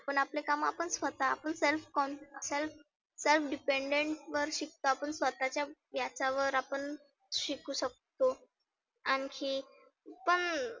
पण आपले काम आपण स्वतः आपण self confirm self self dependent वर शिकतो. आपण स्वतःच्या याच्यावर आपण शिकु शकतो. आणखी पण